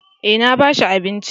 Eh na ba shi abinci